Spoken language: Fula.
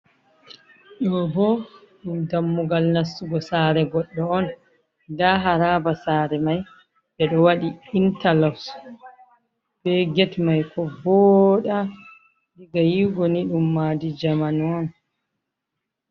Do ɓo ɗum ɗammugal nassugo sare goɗɗo on, ɗa haraɓa sare mai ɓe ɗo waɗi intalos ɓe get mai ko voɗa ,diga yiwugo ni ɗum maɗi zamanu on.